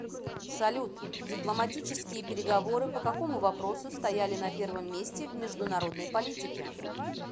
салют дипломатические переговоры по какому вопросу стояли на первом месте в международной политике